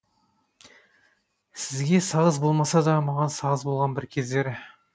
сізге сағыз болмаса да маған сағыз болған бір кездері